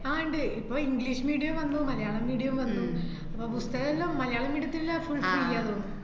ആഹ് ഇണ്ട്, ഇപ്പോ english medium വന്നു, മലയാളം medium വന്നു അപ്പോ പുസ്തകോല്ലാം മലയാളം medium ത്തിലാ fullfree ന്ന് തോന്നുന്നു